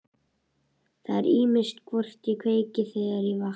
Það er ýmist hvort ég kveiki, þegar ég vakna.